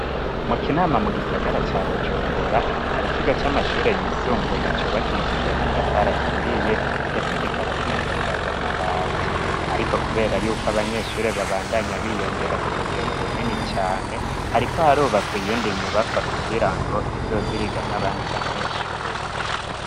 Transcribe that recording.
Mu kinama mu gisagara ca bujumbura hari kigo c'amashure yisumbuye cubakishije amatafari aturiye ndetse kikaba kinasakaje amabati ariko kubera yuko abanyeshure babandanye biyongera ku rugero runini cane hariko harubakwa iyindi nyubakwa kugira ngo izokwigamwo abandi banyeshure.